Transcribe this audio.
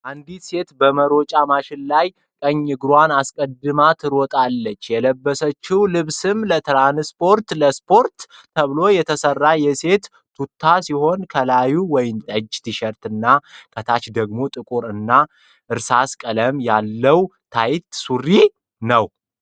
አንዲት ሴት በመሮጫ ማሽን ላይ ቀኝ እግሯን አስቀድማ ትሮጣለች። የለበሰችው ልብስም ለስፖርት ተብሎ የተሰራ የሴት ቱታ ሲሆን ከላይ ወይነጠጅ ቲሸርት እና ከታች ደግሞ ጥቁር እና እርሳስ ቀለም ያለው ታይት ሱሪ ነው።